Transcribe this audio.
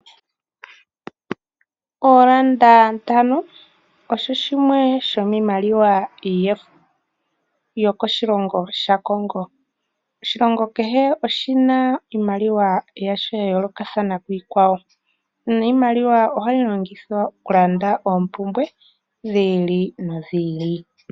Oolanda ntano osho shimwe shoshimaliwa shaCongo, oshilongo kehe oshina iimaliwa ya yoolokathana kiikwawo niimaliwa ohayi longithwa okulanda oompumbwe dhiili no dhiili.